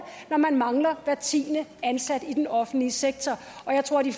når man mangler hver tiende ansatte i den offentlige sektor jeg tror at de